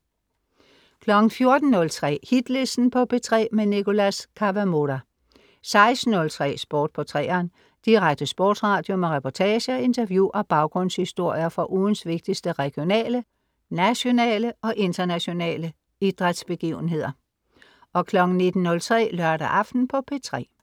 14.03 Hitlisten på P3. Nicholas Kawamura 16.03 Sport på 3'eren. Direkte sportsradio med reportager, interview og baggrundshistorier fra ugens vigtigste regionale, nationale og internationale idrætsbegivenheder 19.03 Lørdag aften på P3